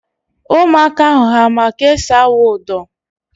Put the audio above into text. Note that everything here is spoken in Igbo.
Ụmụaka ahụ ha ma ka esi awụ ụdọ?